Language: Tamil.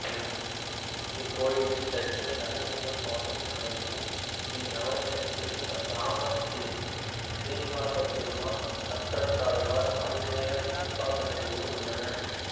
இக்கோயிலில் இலட்சுமி நரசிம்ம சுவாமி சன்னதியும் ஸ்ரீநவநீத கிருஷ்ணர் இராமர் ஸ்ரீனிவாசப்பெருமாள் சக்கரத்தாழ்வார் ஆஞ்சநேயர் உபசன்னதிகளும் உள்ளன